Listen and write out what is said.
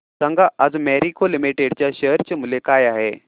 सांगा आज मॅरिको लिमिटेड च्या शेअर चे मूल्य काय आहे